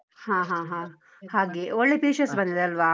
ಹಾ ಹಾ ಹಾ ಹಾ ಹಾಗೆ, ಒಳ್ಳೆ features ಬಂದಿದೆ ಅಲ್ವ?